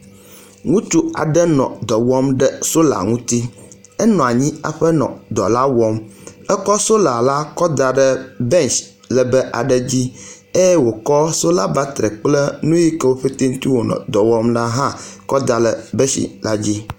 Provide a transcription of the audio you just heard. wutsu aɖe nɔ dɔwɔm ɖe sola ŋuti. Enɔanyi aƒe nɔ dɔlawɔm. Ekɔ sola la kɔ daɖe besh lebe aɖe dzi eyɛ wòkɔ́ sola batri kple nuyikewó pɛtɛɛ ŋti wonɔ dɔwɔm na hã kɔ dale beshila dzi